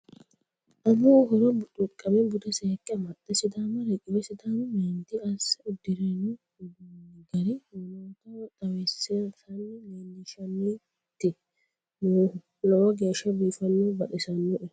Amuwu horo buxuqame bude seekke amaxe sidaama riqiwe sidaamu meenti asse uddirano uduunu gara woloottaho xawisanni leelishanniti noohu lowo geeshsha biifino baxisinoe.